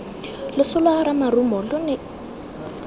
loso lwa ramarumo lo ne